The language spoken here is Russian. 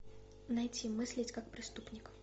найти мыслить как преступник